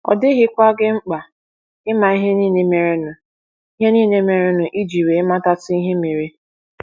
Ọ dịghịkwa gị mkpa ịma ihe nile merenụ ihe nile merenụ iji wee matatu ihe mere.